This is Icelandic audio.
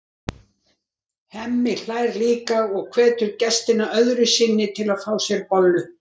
Það var ekki langur gangur að íbúð Hjördísar, tvær hæðir upp stigaganginn.